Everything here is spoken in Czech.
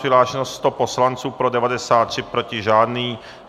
Přihlášeno 100 poslanců, pro 93, proti žádný.